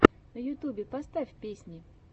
на ютюбе поставь песни